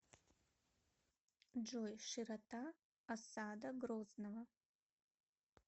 джой широта осада грозного